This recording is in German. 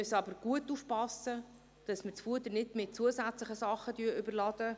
Wir müssen aber gut achtgeben, dass wir die Fuder nicht mit zusätzlichen Dingen überladen.